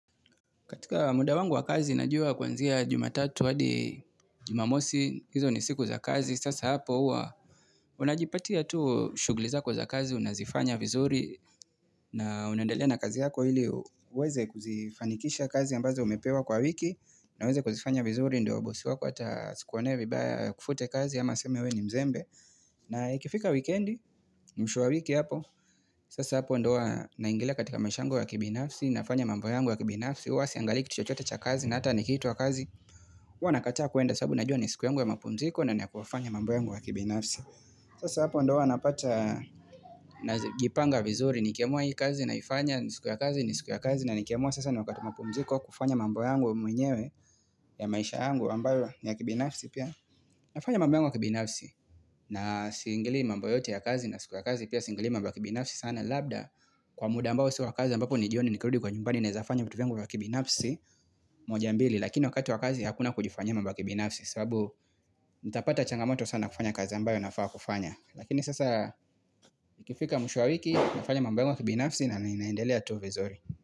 Katika muda wangu wa kazi, najua kuanzia jumatatu hadi jumamosi, hizo ni siku za kazi. Sasa hapo hua, unajipatia tuu shughuli zako za kazi, unazifanya vizuri, na unendalea na kazi yako hili uweze kuzifanikisha kazi ambazo umepewa kwa wiki, na uweze kuzifanya vizuri, ndio bosi wako ata asikuonee vibaya akufute kazi, ama aseme we ni mzembe. Na ikifika wikendi, mwisho wa wiki hapo, sasa hapo ndo huwa naingila katika maisha yangu ya kibinafsi, nafanya mambo yangu wa kibinafsi, huwa siiangalii kitu chochote cha kazi na hata nikiitwa kazi uwa nakataa kuenda sabu najua ni siku yangu ya mapumziko naenda kufanya mambo yangu wa kibinafsi sasa hapo ndo huwanapata na jipanga vizuri nikiamua hii kazi na ifanya ni siku ya kazi ni siku ya kazi na nikiamua sasa ni wakata mapumziko kufanya mambu yangu mwenyewe ya maisha yangu ambayo ya kibinafsi pia nafanya mambo yangu wa kibinafsi na siingilii mambo yote ya kazi na siku ya kazi pia singilii mambo wa kibinafsi sana labda kwa muda ambao siwa kazi ambapo ni jioni nikirudi kwa nyumbani naezafanya vitu vyangu wa kibinafsi moja mbili. Lakini wakati wakazi hakuna kujifanyia mambo ya kibinafsi. Sababu nitapata changamoto sana kufanya kazi ambayo nafaa kufanya. Lakini sasa ikifika mwisho wa wiki nafanya mambo yangu ya kibinafsi na ninaendelea tu vizuri.